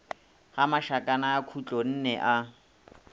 ga mašakana a khutlonne a